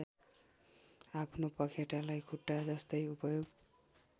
आफ्नो पँखेटालाई खुट्टाजस्तै उपयोग